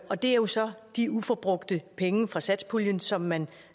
og det er jo så de uforbrugte penge fra satspuljen som man